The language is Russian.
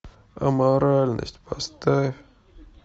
аморальность поставь